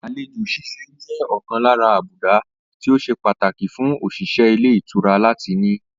Àlejò s̩ís̩e jé̩ ò̩kan lára àbùdá tí o se pataki fun òs̩ìs̩é̩ ilé ìtura lati ní